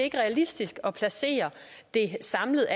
er realistisk at placere det samlet